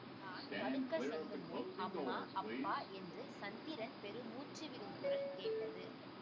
நான் படுக்கச் செல்லுமுன் அம்மா அப்பா என்று சந்திரன் பெருமூச்சு விடும் குரல் கேட்டது